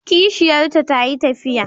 Kishiyarta ta yi tafiya.